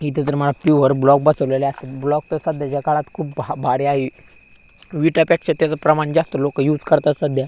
इथं तर मला प्युअर ब्लॉक बसवलेले असतील ब्लॉक तर मला सध्याच्या काळात खूप भा भारी आहे विटापेक्षा त्याचं प्रमाण जास्त लोकं यूज करतात सध्या.